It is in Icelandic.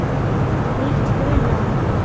Nýtt hunang.